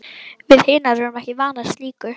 Við hinar erum ekki vanar slíku.